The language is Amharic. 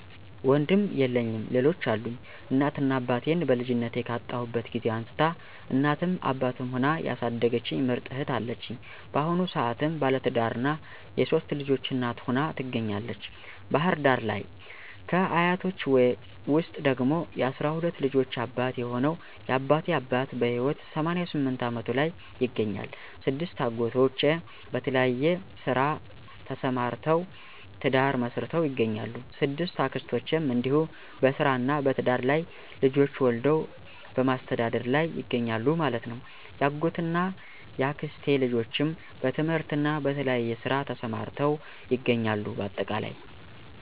ወንድም የለኝም ሌሎች አሉኝ፦ እናት እና አባቴን በልጅነቴ ካጣሁበት ጊዜ አንስታ እናትም አባትም ሁና ያሣደገችኝ ምርጥ እህት አለችኝ። ባሁኑ ሰአትም ባለትዳርና የሶስት ልጆች እናት ሁና ትገኛለተች ባህር ዳር ለይ። ከ አያቶቸ ውስጥ ደግሞ የ12 ልጆች አባት የሆነው የ አባቴ አባት በህይወት 88 አመቱ ላይ ይገኛል። 6አጎቶቼ በተለያየ ስራ ተሰማርተውተ፤ ትዳር መሥርተው ይገኛሉ።። 6አክስቶቸም እንዲሁ በስራ እና በትዳር ላይ ልጆች ወልደው በማሥተዳደር ላይ ይገኛሉ ማለት ነው። ያጎት እና ያክስቴ ልጆችም በትምህርትና በተለያየ ስራ ተሰማርተው ይገኛሉ ባጠቃላይ።